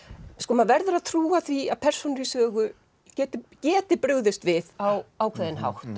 maður verður að trúa því að persónur í sögu geti geti brugðist við á ákveðinn hátt